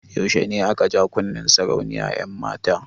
Yaushe ne aka ja kunnen sarauniyar 'yanmata?